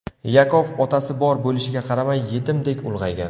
Yakov otasi bor bo‘lishiga qaramay yetimdek ulg‘aygan.